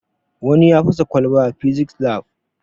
Wani ya fasa kwalba a fisis lab